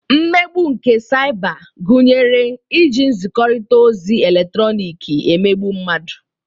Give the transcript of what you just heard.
Mmegbu nke saịba gunyere iji nzikọrịta ozi eletrọnịkị emegbu mmadụ.